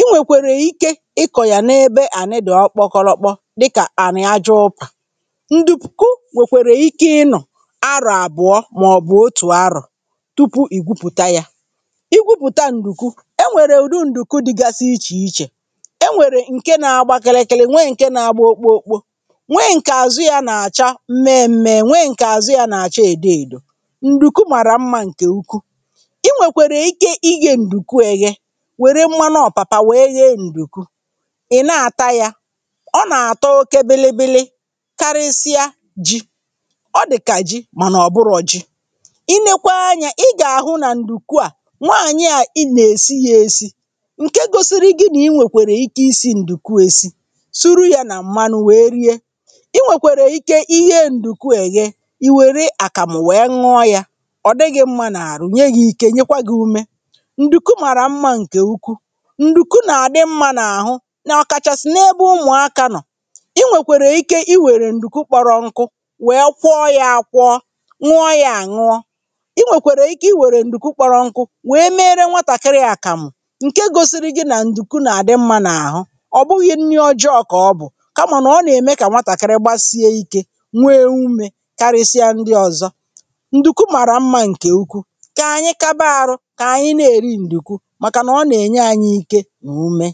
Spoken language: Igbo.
i nwèkwèrè ike ịkọ̀ yà n’ebe ànị dị̀ ọkpọkọlọkpọ dịkà ànị̀ aja ụpà, ǹdùku nwèkwèrè ike ịnọ̀ arọ̀ àbụ̀ọ màọ̀bụ̀ otù arọ̀ tupu ì gwupùta yȧ, i gwupùta ǹdùku e nwèrè ùdu ǹdùku dị̀gasi ichè ichè, enwere nke na-agba kirikiri nwee nke na-agba okpookpo, nwe ǹkè àzụ ya nà-àcha mme mme, nwee ǹkè àzụ ya nà-àcha èdo èdò, ǹdùku màrà mmȧ ǹkè ụkwụ, ị nwèkwèrè ike ị ghė ǹdùku eghe wère mmanụ ọ̀pàpà wèe ghe ǹdùku, ị̀ na-àta yȧ, ọ nà-àtọ oke bilibili karịsịa ji, ọ dị̀kà ji mànà ọ̀ bụrọ̀ ji, i nekwa anyȧ ị gà-àhụ nà ǹdùku à nwanyị à ị nà-èsi ya èsi ǹke gosiri gị nà i nwèkwèrè ike isi ǹdùku esi, sụrụ ya na mmanụ wee rie, i nwèkwèrè ike ighe ǹdùku èghe i wère àkàmụ̀ wee ṅụọ yȧ, ọ̀ dị gi mmȧ n'àrụ̀, nye gi ike nyekwa gị̇ ume. Ndùku màrà mmȧ ǹkè ụkwụ, ǹdùku nà-àdị mmȧ n’àhụ n’ọkàchàsị̀ n’ebe ụmụ̀ akȧ nọ̀, i nwèkwèrè ike i wère ǹdùku kpọrọ nkụ, wee kwọọ yȧ àkwọọ, ṅụọ yȧ àñụọ, i nwèkwèrè ike i wère ǹdùku kpọrọ nku̇ wee meere nwatàkịrị àkàmụ̀ ǹke gosiri gi̇ nà ǹdùku nà-àdị mmȧ n’àhụ, ọbụghị nri ọjọọ ka ọbụ, kama na ọ na-eme ka nwatakịrị gbasie ike, nwee umė karịsịa ndị ọzọ. Ndùku màrà mmȧ ǹkè ụkwụ, kà anyị kaba arụ kà anyị nȧ-èri ǹdùku màkà nà ọ nà-ènye ȧnyị̇ ike na ume.